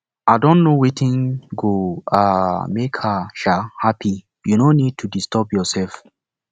i don know wetin go um make her um happy you no need to disturb yourself